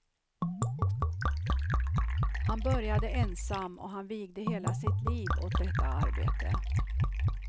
Han började ensam, och han vigde hela sitt liv för detta arbete.